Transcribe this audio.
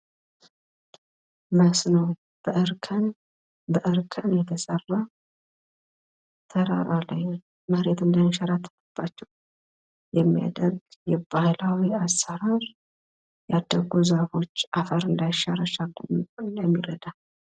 ምስሉ ትራራ ላይ የተሰራን እርከን የሚያሳይ ሲሆን ፤ በተራራው ላይ ዛፎች ይታያሉ እርከኑ አፈሩ እንዳይሸረሸር ይከላከላል።